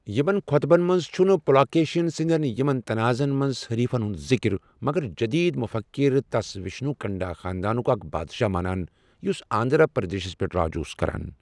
یمن خۄطبن منٛز چھُنہٕ پُلاکیشن سٕندین یمن تنعازن منز حریفن ہُند ذِکر، مگر جٔدیٖد مفکِر تس وِشنوُ کُنڈا خاندانُک اکھ بادشاہ مانان، یُس آندھرا پردیشس پیٹھ راج اوس کران ۔